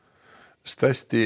stærsti